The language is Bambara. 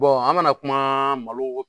an kana kuma malo